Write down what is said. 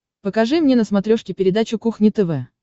покажи мне на смотрешке передачу кухня тв